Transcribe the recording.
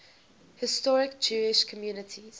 historic jewish communities